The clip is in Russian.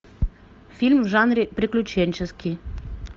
фильм в жанре приключенческий